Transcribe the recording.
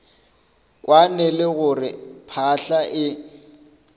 kwane le gore phahla e